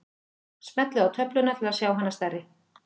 Smellið á töfluna til að sjá hana stærri.